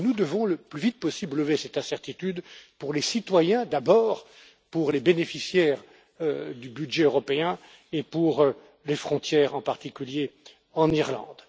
Nous devons le plus vite possible lever cette incertitude pour les citoyens d'abord, pour les bénéficiaires du budget européen et pour les frontières, en particulier en Irlande.